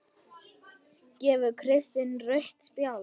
Gefur Kristinn rautt spjald?